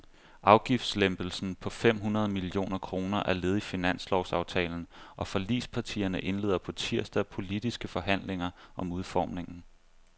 Afgiftslempelsen på fem hundrede millioner kroner er led i finanslovsaftalen, og forligspartierne indleder på tirsdag politiske forhandlinger om udformningen.